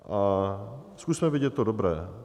A zkusme vidět to dobré.